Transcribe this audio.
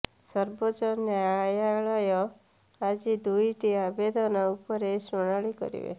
ସର୍ବୋଚ୍ଚ ନ୍ୟାୟାଳୟ ଆଜି ଦୁଇଟି ଆବେଦନ ଉପରେ ଶୁଣାଣି କରିବେ